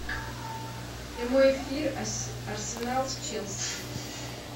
прямой эфир арсенал с челси